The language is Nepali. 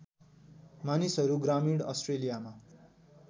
मानिसहरू ग्रामीण अस्ट्रेलियामा